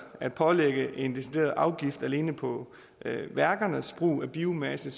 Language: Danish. at pålægge en decideret afgift alene på værkernes brug af biomasse